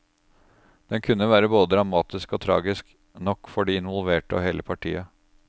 Den kunne være både dramatisk og tragisk nok for de involverte og hele partiet.